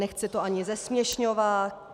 Nechci to ani zesměšňovat.